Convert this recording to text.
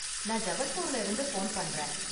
நான் ஜபல்பூர்ல இருந்து போன் பண்றேன்.